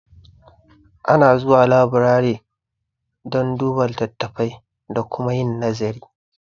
Ana zuwa laburare don duba litattafai da kuma yin nazari